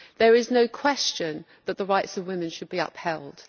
There is no question that the rights of women should be upheld.